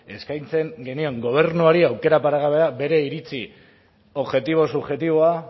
eskaintzen genion gobernuari aukera paregabe bere iritzi objektibo subjektiboa